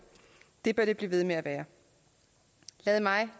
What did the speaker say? det bør det blive ved med at være lad mig